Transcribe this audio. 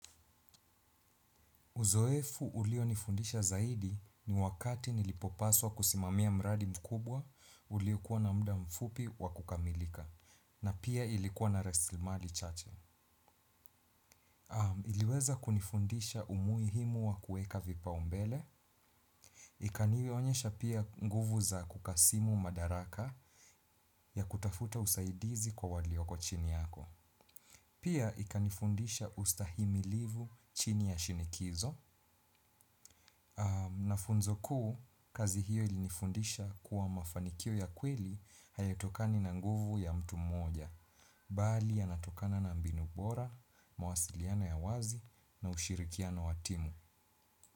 Uzoefu ulio nifundisha zaidi ni wakati nilipopaswa kusimamia mradi mkubwa uliyokuwa na muda mfupi wa kukamilika na pia ilikuwa na rasilimali chache. Iliweza kunifundisha umuhimu wa kuweka vipao mbele. Ikanionyesha pia nguvu za kukasimu madaraka ya kutafuta usaidizi kwa walioko chini yako. Pia ikanifundisha ustahimilivu chini ya shinikizo. Na funzo kuu kazi hiyo ilinifundisha kuwa mafanikio ya kweli hayatokani na nguvu ya mtu mmoja. Bali yanatokana na mbinu bora, mawasiliano ya wazi na ushirikiano wa timu.